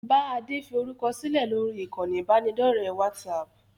Bá Adé fi orúkọ sílẹ̀ lórí ìkànnì ibanidọ̀rẹ́ WhatsApp!